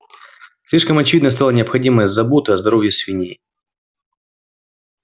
слишком очевидной стала необходимость заботы о здоровье свиней